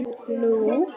Nú átti ég mig.